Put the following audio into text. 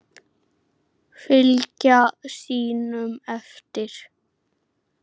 Fylgja sínum eftir.